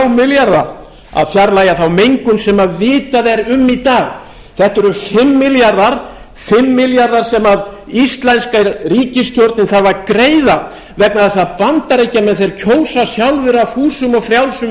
milljarða að fjarlægja þá mengun sem vitað er um í dag þetta eru fimm milljarðar fimm milljarðar sem íslenska ríkisstjórnin þarf að greiða vegna þess að bandaríkjamenn kjósa sjálfir af fúsum og frjálsum